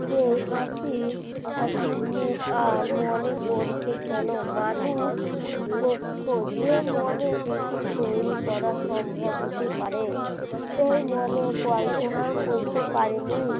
হাসি মুখ আর মনে পড়ছে কেন মানুষ যে মনে পৃথিবী তৈরি করা সম্ভব হতে পারে তাই মনে কল্পনার করতে পারিনি